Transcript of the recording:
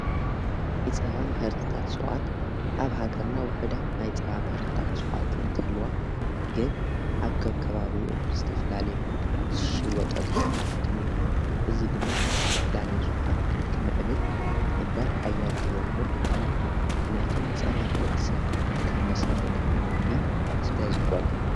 ናይ ጸባ ምሕርትታት ሥዉዓት ኣብ ሃገርና ውሑዳት ናይ ጸባ ምሕርታት ሰዉዓት እንትልዋ ግን ኣብ ከብከባብኡ ብዝተፍላለየ መንግታት ሽወጠሉ ኩነታት እምእዮ እዝ ድማ ናብ ዝተፍላለዩ ሥውዓት ክንኪምዕብል ዝግበር ሓያድ ርግብሪ ቤድልየ ማንያቱም ጸባን ወዲ ሰብ ከም መሠረትውን ምግቢ ስለ ዝጐነ።